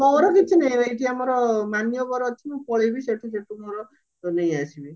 ମୋର କିଛି ନାହି ଏଇଠି ଆମର ମାନ୍ୟବର ଅଛି ମୁଁ ପଳେଇବି ସେଠୁ ଯଦି ମୋର ନେଇଆସିବି